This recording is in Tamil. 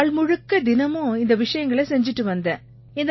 நாள் முழுக்க தினமும் இந்த விஷயங்களை செய்திட்டு வந்தேன்